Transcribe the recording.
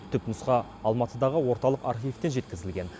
түпнұсқа алматыдағы орталық архивтен жеткізілген